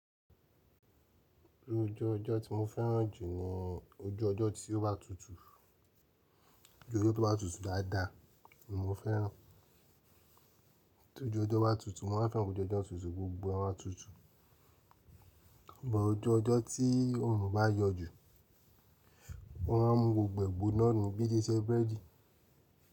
Bí ojú ọjọ́ tí mo fẹ́ràn jù ni ojú ọjọ́ tí ó bá tutù. Ojú ojó tó bá tutù dáadáa ni mo fẹ́ràn. Tí ojú ọjọ́ bá tutù, mo máa ń fẹ́ràn ojú ọjọ́ tuntun, gbogbo wọn máa tutù. Ṣùgbọ́n ojú ọjọ́ tí oòrùn bá yọ jù, ó máa ń mu gbogbo ìgbóná nù bíi ile íṣẹ́ búrẹ́dì.